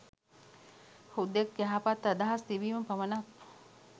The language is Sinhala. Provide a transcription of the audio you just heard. හුදෙක් යහපත් අදහස් තිබීම පමණක්